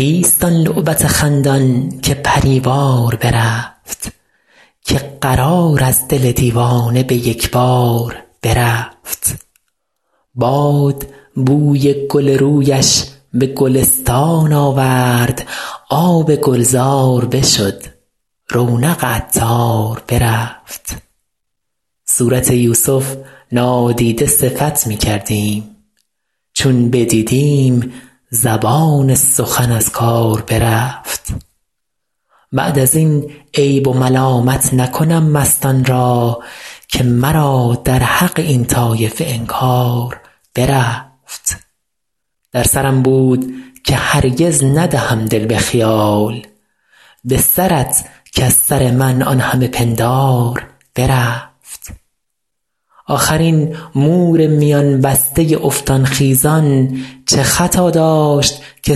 کیست آن لعبت خندان که پری وار برفت که قرار از دل دیوانه به یک بار برفت باد بوی گل رویش به گلستان آورد آب گلزار بشد رونق عطار برفت صورت یوسف نادیده صفت می کردیم چون بدیدیم زبان سخن از کار برفت بعد از این عیب و ملامت نکنم مستان را که مرا در حق این طایفه انکار برفت در سرم بود که هرگز ندهم دل به خیال به سرت کز سر من آن همه پندار برفت آخر این مور میان بسته افتان خیزان چه خطا داشت که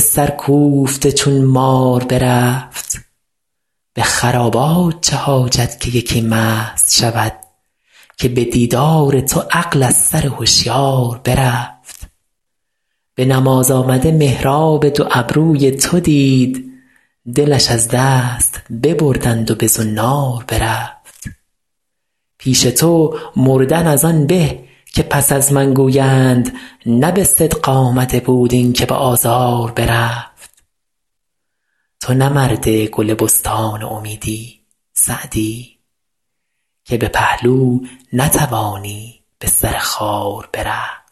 سرکوفته چون مار برفت به خرابات چه حاجت که یکی مست شود که به دیدار تو عقل از سر هشیار برفت به نماز آمده محراب دو ابروی تو دید دلش از دست ببردند و به زنار برفت پیش تو مردن از آن به که پس از من گویند نه به صدق آمده بود این که به آزار برفت تو نه مرد گل بستان امیدی سعدی که به پهلو نتوانی به سر خار برفت